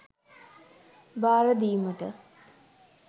භාර දීමටයි.